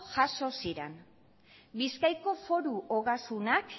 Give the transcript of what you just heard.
jaso ziren bizkaiko foru ogasunak